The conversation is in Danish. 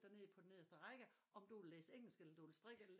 Dig ned på den nederste række om du vil læse engelsk eller strikke eller